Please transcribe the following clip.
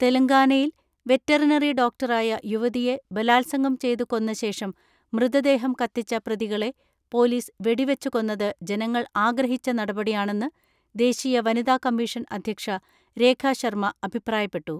തെലങ്കാനയിൽ വെറ്ററിനറി ഡോക്ടറായ യുവതിയെ ബലാത്സംഗം ചെയ്തു കൊന്ന ശേഷം മൃതദേഹം കത്തിച്ച പ്രതികളെ പോലീസ് വെടിവെച്ചുകൊന്നത് ജനങ്ങൾ ആഗ്രഹിച്ച നടപടിയാണെന്ന് ദേശീയ വനിതാ കമ്മീഷൻ അധ്യക്ഷ രേഖ ശർമ അഭിപ്രായപ്പെട്ടു.